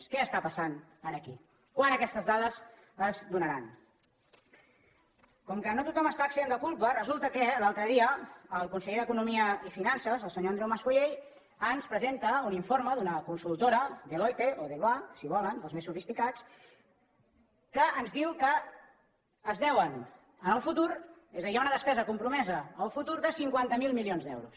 què està passant aquí quan aquestes dades es donaran com que no tothom està exempt de culpa resulta que l’altre dia el conseller d’economia i finances el senyor andreu mas colell ens presenta un informe d’una consultora deloitte o deluà si volen els més sofisticats que ens diu que es deuen en el futur és a dir hi ha una despesa compromesa en el futur de cinquanta miler milions d’euros